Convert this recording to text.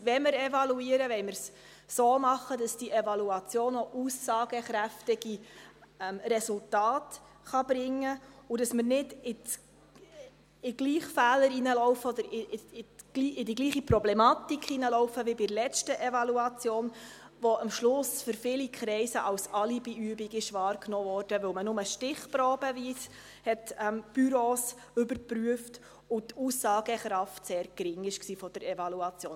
Wenn wir evaluieren, wollen wir dies so machen, dass diese Evaluation aussagekräftige Resultate bringen kann, und dass wir nicht in den gleichen Fehler oder in die gleiche Problematik hineinlaufen wie bei der letzten Evaluation, die am Schluss von vielen Kreise als Alibiübung wahrgenommen wurde, weil man nur stichprobeweise Büros überprüft hat und die Aussagekraft der Evaluation sehr gering war.